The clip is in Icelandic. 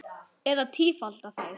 Eða tífalda þær.